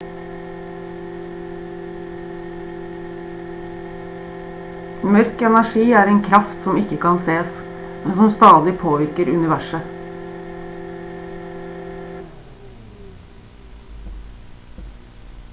mørk energi er en kraft som ikke kan sees men som stadig påvirker universet